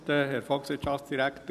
Ich blende kurz zurück.